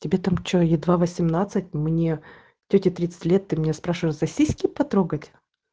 тебе там что едва восемнадцать мне тете тридцать лет ты меня спрашиваешь за сиски потрогать